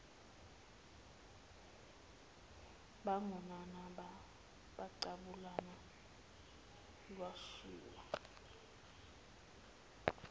bagonana baqabulana lwashisa